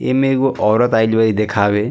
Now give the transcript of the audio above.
इमें एगो औरत आईल बा ई दिखावे।